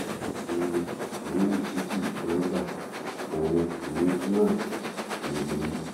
ọnà um yòówù tó sì wù kí wọn gba òun um náà ló borí